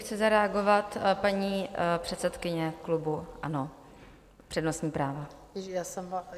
Chce zareagovat paní předsedkyně klubu ANO - přednostní právo.